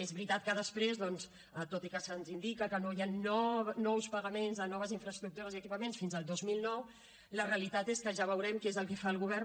és veritat que després doncs tot i que se’ns indica que no hi han nous pagaments a noves infraestructures i equipaments fins al dos mil nou la realitat és que ja veurem què és el que fa el govern